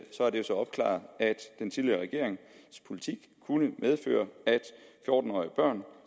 altså opklaret at den tidligere regerings politik kunne medføre at fjorten årige børn